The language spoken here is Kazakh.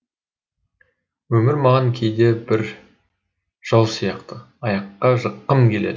өмір маған кейде бір жау сияқты аяққа жыққым келеді